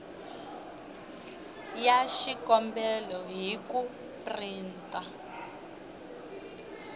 ya xikombelo hi ku printa